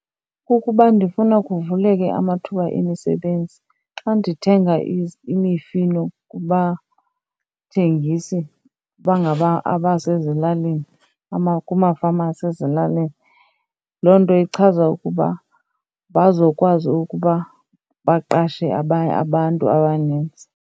Kukuba ndifuna kuvuleke amathuba emisebenzi. Xa ndithenga imifino kubathengisi abasezilalini kumafama asezilalini, loo nto ichaza ukuba bazokwazi ukuba baqashe abantu abanintsi.